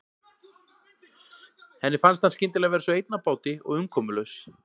Henni fannst hann skyndilega vera svo einn á báti og umkomulaus.